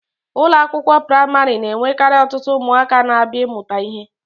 Ụlọ akwụkwọ praịmarị na-enwekarị ọtụtụ ụmụaka na-abịa ịmụta ihe.